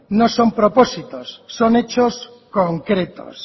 no son propósitos son hechos concretos